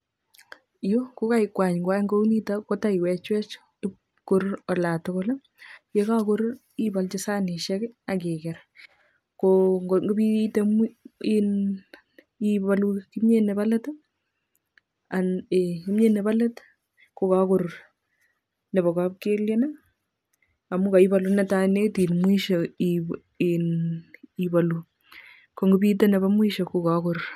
Yu, kukaikwanykwany kou nito kotaiwechwech ipkorur olatukul, yekakorur, ipolchi sanishek akiker ko nkipiite in ipolu kimyet nepo let, an eh kimyet nepo let ko kakorur nepo kapkelien amu kaipolu netai nekit iit mwisho in ipolu, ko nkipiite nepo mwisho ko kakorur.